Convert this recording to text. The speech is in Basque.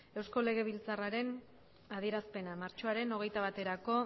eusko legebiltzarraren adierazpena martxoaren hogeita baterako